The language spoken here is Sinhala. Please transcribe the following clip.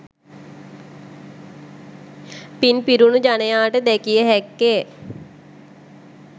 පින් පිරුණු ජනයාට දැකිය හැක්කේ